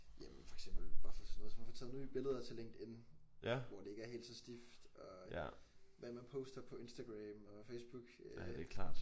Jamen for eksempel bare for sådan noget som at få taget nye billeder til LinkedIn hvor det ikke er helt så stift. Og hvad man poster på Instagram og Facebook øh